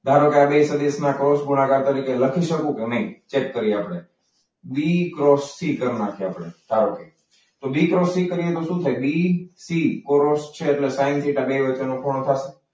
ધારો કે આ બે સદિશોને ક્રોસ ગુણાકાર તરીકે લખી શકું કે નહીં ચેક કરી આપણે. બી ક્રોસી કરી નાખ્યા આપણે ધારો કે તો બી ક્રોસ સી કરીએ તો શું થાય? બી સી ક્રોસ ક્રોસ છે એટલે કે સાઈન થીટા